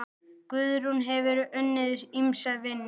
Guðrún hefur unnið ýmsa vinnu.